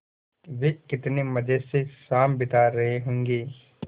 वे कितने मज़े से शाम बिता रहे होंगे